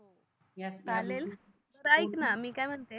त ऐकणा मी काय म्हणते कोण